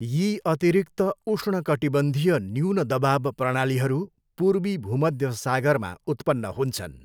यी अतिरिक्त उष्णकटिबन्धीय न्यून दबाव प्रणालीहरू पूर्वी भूमध्य सागरमा उत्पन्न हुन्छन्।